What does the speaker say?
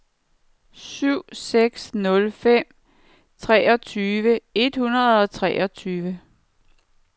syv seks nul fem treogtyve et hundrede og treogtyve